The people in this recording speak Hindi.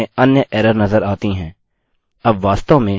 send me this पर क्लिक करें और हमें अन्य एरर नजर आती है